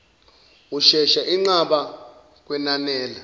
ushesha inqaba kwenanela